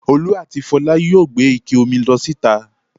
Olú àti Fọlá yóò gbé ike omi lọ síta.